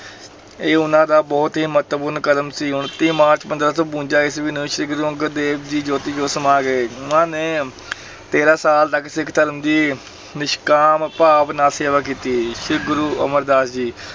ਇਹ ਉਹਨਾਂ ਦਾ ਬਹੁਤ ਹੀ ਮਹੱਤਵਪੂਰਨ ਕਦਮ ਸੀ, ਉਣੱਤੀ ਮਾਰਚ ਪੰਦਰਾਂ ਸੌ ਬਵੰਜਾ ਈਸਵੀ ਨੂੰ ਸ੍ਰੀ ਗੁਰੂ ਅੰਗਦ ਦੇਵ ਜੀ ਜੋਤੀ-ਜੋਤ ਸਮਾ ਗਏ, ਉਹਨਾਂ ਨੇ ਤੇਰਾਂ ਸਾਲ ਤੱਕ ਸਿੱਖ ਧਰਮ ਦੀ ਨਿਸ਼ਕਾਮ ਭਾਵ ਨਾਲ ਸੇਵਾ ਕੀਤੀ, ਸ੍ਰੀ ਗੁਰੂ ਅਮਰਦਾਸ ਜੀ